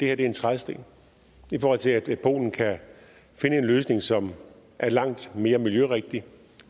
er en trædesten i forhold til at polen kan finde en løsning som er langt mere miljørigtig